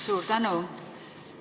Suur tänu!